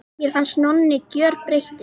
Mér fannst Nonni gjörbreyttur.